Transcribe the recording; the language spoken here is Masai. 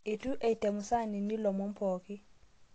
Eitu eitemu saanini lomon pooki